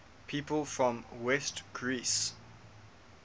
people from west greece